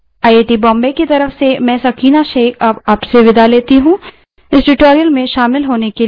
यह script देवेन्द्र कैरवान द्वारा अनुवादित है आई आई टी बॉम्बे की तरफ से मैं सकीना अब आप से विदा लेती हूँ इस ट्यूटोरियल में शामिल होने के लिए धन्यवाद